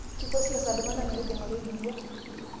kiko siasa iltunganak metijinga olotirwua